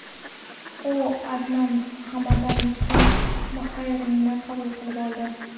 U Adnan Hamaddan so‘ng Bahraynni qabul qilib oldi.